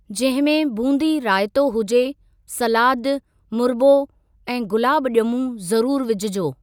जंहिं में बूंदी रायतो हुजे, सलादु, मुरबो ऐं गुलाब ॼमूं ज़रूरु विझजो।